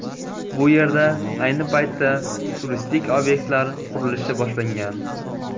Bu yerda ayni paytda turistik obyektlar qurilishi boshlangan.